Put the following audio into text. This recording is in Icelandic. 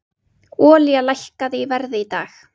Olía lækkaði í verði í dag